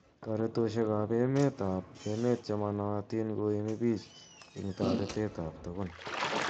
Toeretoshek ap emet ap emet chemanaitin koimi pich ing taretet ap tugun.